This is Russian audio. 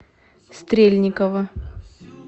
стрельникова